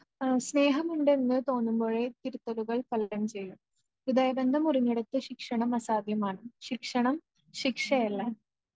ആ സ്നേഹമുണ്ടെന്ന് തോന്നുമ്പോഴേ തിരുത്തലുകൾ ചെയ്യൂ.ഹൃദയബന്ധം മുറിഞ്ഞിടത്ത് ശിക്ഷണം അസാധ്യമാണ്.ശിക്ഷണം ശിക്ഷയല്ല